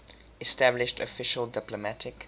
established official diplomatic